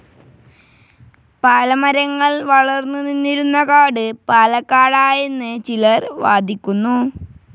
പാല മരങ്ങൾ വളർന്നു നിന്നിരുന്ന കാട്‌ പാലക്കാടായെന്ന് ചിലർ വാദിക്കുന്നു.